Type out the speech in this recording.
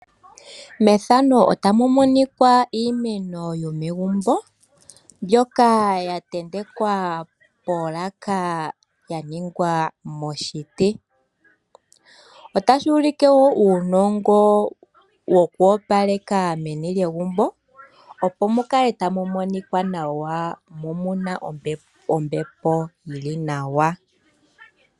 Iimeno yomegumbo mbyoka ya tentekwa polaka yolongwa moshiti. Otashi ulike uunongo wokuopaleka meni lyegumbo mu kale tamu monika wa mo omuna ombepo ombwaanawa.